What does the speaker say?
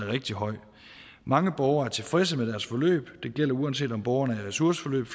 rigtig høj mange borgere er tilfredse med deres forløb og det gælder uanset om borgerne er i ressourceforløb